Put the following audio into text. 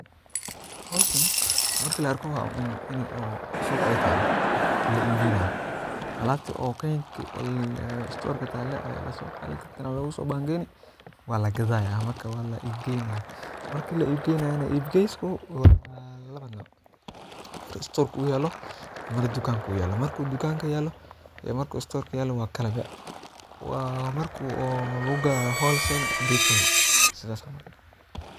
Hoshan marki ka arko maxaa u maleyn in ee suqa talo waa la ib geynayo mesha ee talo waa istorka marki tukanka lagu gadhayo iyo marki storka lagu gadhayo waa kala ib sas waye mark.